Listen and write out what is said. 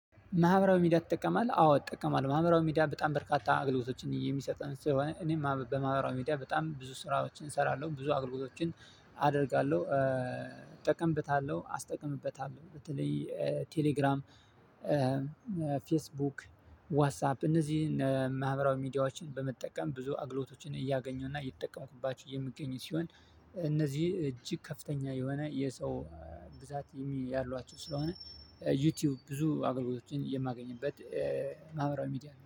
ማህበራዊ ሚዲያ ትጠቀማለህ? አዎ እጠቀማለሁ ማህበራዊ ሚዲያ በጣም በርካታ አገልግሎቶችን እየሚሰጠን ስለሆነ እኔም በማህበራዊ ሚዲያ በጣም ብዙ ስራዎችን እሰራለሁ። ብዙ አገልግሎቶችን አደርጋለሁ እጠቀምበታለሁ አስጠቅምበታለሁ በተለይ ቴሌግራም ፌስቡክ ዋትሳፕ እነዚህን ማህበራዊ ሚዲያዎችን በመጠቀም ብዙ አግሎቶችን እያገኘሁና እየተጠቀምኩባቸው የምገኝ ሲሆን። እነዚህ እጅግ ከፍተኛ የሆነ የሰው ብዛት የሚል ያሏቸው ስለሆነ ዩቲዩብ ብዙ አገልግሎቶችን የማገኝበት። ማህበራዊ ሚዲያ